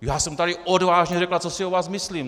Já jsem tady odvážně řekla, co si o vás myslím.